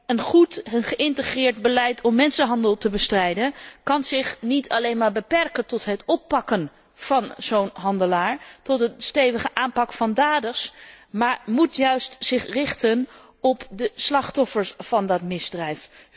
Een goed geïntegreerd beleid om mensenhandel te bestrijden kan zich niet alleen maar beperken tot het oppakken van zo'n handelaar en tot het stevig aanpakken van daders, maar moet zich juist richten op de slachtoffers van dat misdrijf.